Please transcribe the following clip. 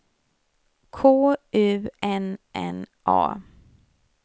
K U N N A